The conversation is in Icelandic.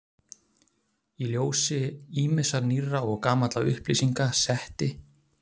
Í ljósi ýmissa nýrra og gamalla upplýsinga setti